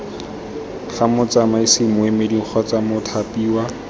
ga motsamaisi moemedi kgotsa mothapiwa